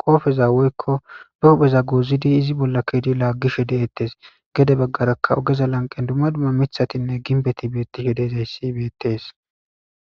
qopeza woyko be hupheza gozid iz bolla utid lagishe de'etes , gede bagaraka ogeza lanqen dumma dumma mithatine gimbet betishe dizays betishe de'esko.